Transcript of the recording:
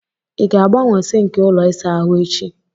Ị ga-agbanwe sinki ụlọ ịsa ahụ echi?